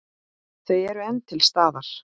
Þau eru enn til staðar.